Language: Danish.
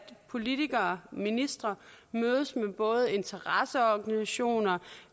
politikere ministre mødes med både interesseorganisationer